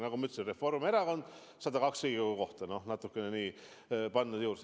Nagu ma ütlesin: Reformierakond, 102 Riigikogu kohta – noh, natukene on juurde pandud.